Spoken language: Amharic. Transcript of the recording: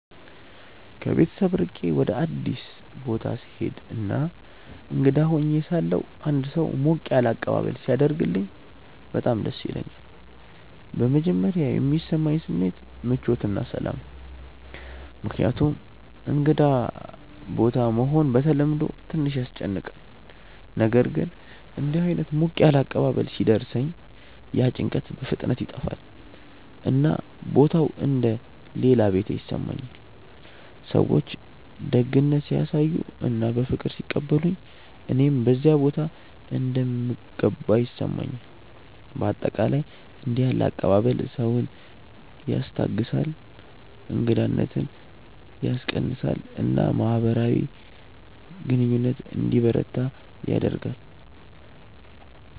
ከቤት ርቄ ወደ አዲስ ቦታ ስሄድ እና እንግዳ ሆኜ ሳለሁ አንድ ሰው ሞቅ ያለ አቀባበል ሲያደርግልኝ በጣም ደስ ይለኛል። በመጀመሪያ የሚሰማኝ ስሜት ምቾት እና ሰላም ነው፣ ምክንያቱም እንግዳ ቦታ መሆን በተለምዶ ትንሽ ያስጨንቃል። ነገር ግን እንዲህ ዓይነት ሞቅ ያለ አቀባበል ሲደርሰኝ ያ ጭንቀት በፍጥነት ይጠፋል፣ እና ቦታው እንደ “ ሌላ ቤቴ ” ይሰማኛል። ሰዎች ደግነት ሲያሳዩ እና በፍቅር ሲቀበሉኝ እኔም በዚያ ቦታ እንደምገባ ይሰማኛል። በአጠቃላይ እንዲህ ያለ አቀባበል ሰውን ያስታግሳል፣ እንግዳነትን ያስቀንሳል እና ማህበራዊ ግንኙነት እንዲበረታ ያደርጋል።